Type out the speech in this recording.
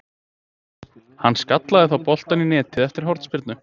Hann skallaði þá boltann í netið eftir hornspyrnu.